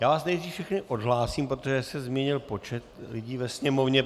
Já vás nejdřív všechny odhlásím, protože se změnil počet lidí ve sněmovně.